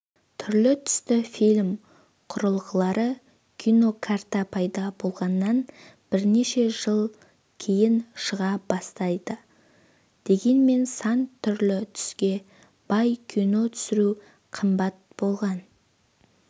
түрлі-түсті фильм құрылғылары кинокарта пайда болғаннан бірнеше жыл кейін шыға бастайды дегенмен сан түрлі түске бай кино түсіру қымбат болған